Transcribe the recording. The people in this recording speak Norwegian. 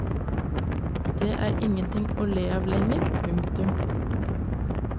Det er ingenting å le av lenger. punktum